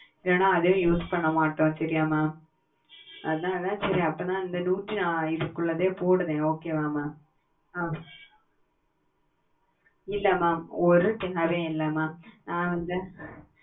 என அதே use பண்ண மாட்டோம் சரியா mam உங்க பயனுக்கு இப்போதைக்கு எத்தனை தேவ படுத்த mam artel இல்ல